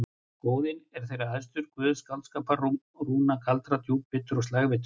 Óðinn er þeirra æðstur, guð skáldskapar, rúna og galdra, djúpvitur og slægvitur.